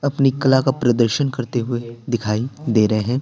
अपनी कला का प्रदर्शन करते हुए दिखाई दे रहे हैं।